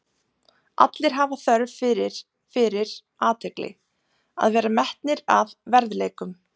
Allir hafa þörf fyrir fyrir athygli, að vera metnir að verðleikum.